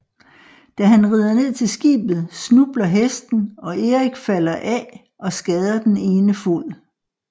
Da han rider ned til skibet snubler hesten og Eirik falder af og skader den ene fod